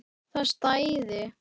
Það stæði.